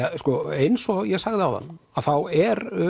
eins og ég sagði áðan þá eru